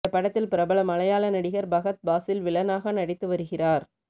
இந்த படத்தில் பிரபல மலையாள நடிகர் பஹத் பாசில் வில்லனாக நடித்து வருகிறார்